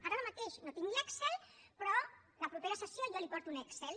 ara mateix no tinc l’excel però la propera sessió jo li porto un excel